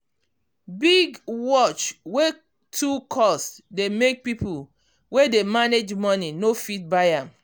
big watch wey too cost dey make people wey dey manage money no fit buy am.